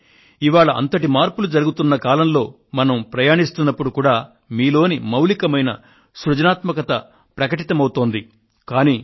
అలానే ఇవాళ ఇంతటి మార్పులు జరుగుతున్న కాలంలో మనం ప్రయాణిస్తున్నప్పుడు కూడా మీలోని మౌలికమైన సృజనాత్మక ప్రకటితమవుతోంది